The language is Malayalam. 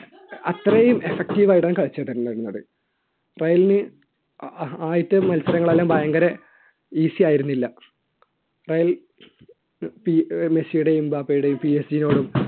അത്രയും effective ആയിട്ടാണ് കളിച്ചിട്ടുണ്ടായിരുന്നത് റയലിന് ആദ്യത്തെ മത്സരങ്ങൾ എല്ലാം ഭയങ്കര easy ആയിരുന്നില്ല റയൽ മെസ്സിയുടെയും എംബാപ്പയുടെയും നോടും